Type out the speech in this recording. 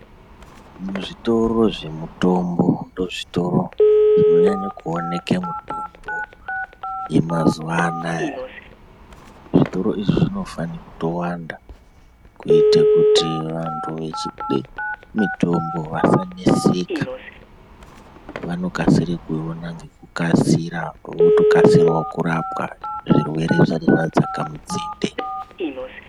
Muzvitoro zvemutombo ndoozvitoro zvinonyanya kuoneka mitombo yemazuwa anaa zvitoro izvi zvinofane kutowanda kuite kuti vantu vechide mutombo vasaneseka vanokasira kuiona ngekukasira votokasirawo kurapwa zvirwerw zvisati zvadzaka mudzinde.